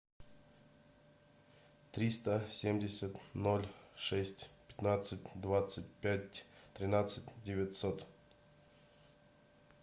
триста семьдесят ноль шесть пятнадцать двадцать пять тринадцать девятьсот